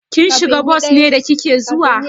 Kin shiga bos ne da kike zuwa?